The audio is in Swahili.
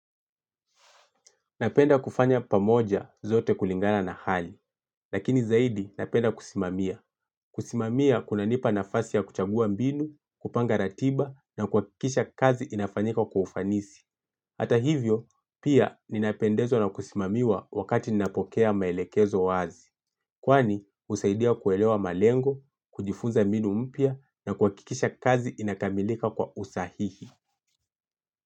Napenda kufanya pamoja zote kulingana na hali, lakini zaidi napenda kusimamia. Kusimamia kuna nipa nafasi ya kuchagua mbinu, kupanga ratiba na kuhakikisha kazi inafanyika kwa ufanisi. Hata hivyo, pia ninapendezwa na kusimamiwa wakati ninapokea maelekezo wazi. Kwani, husaidia kuelewa malengo, kujifunza mbinu mpya na kuhakikisha kazi inakamilika kwa usahihi.